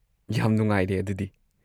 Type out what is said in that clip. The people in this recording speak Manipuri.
ꯌꯥꯝ ꯅꯨꯡꯉꯥꯏꯔꯦ ꯑꯗꯨꯗꯤ꯫